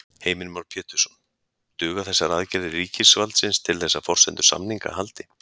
Heimir Már Pétursson: Duga þessar aðgerðir ríkisvaldsins til þess að forsendur samninga haldi?